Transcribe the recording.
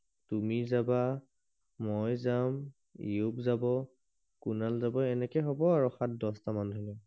তুমি যাবা মই যাম ইয়োক যাব কুনাল যাব এনেকে হব আৰু সাত দহটা মান মানু্হ গলে